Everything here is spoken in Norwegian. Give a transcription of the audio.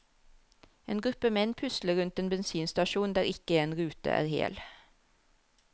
En gruppe menn pusler rundt en bensinstasjon der ikke en rute er hel.